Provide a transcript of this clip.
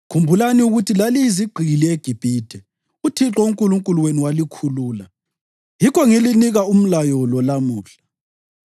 Khumbulani ukuthi laliyizigqili eGibhithe uThixo uNkulunkulu wenu walikhulula. Yikho ngilinika umlayo lo lamuhla.